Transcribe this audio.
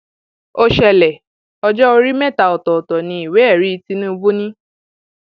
ó ṣẹlẹ ọjọ orí mẹta ọtọọtọ ní ìwéẹrí tinubu ni